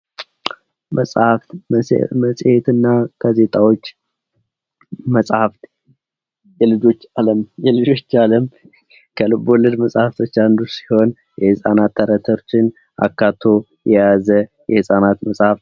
መጽሐፍት መፅሔትና ጋዜጣዎች መጻሕፍት የልጆች ዓለም የልጆች የዓለም ከልቦለድ መጽሐፍቶች አንዱ ሲሆን ፤ የሕፃናት ተረቶችን አካቶ የያዘ የህፃናት መጽሐፍ ነው።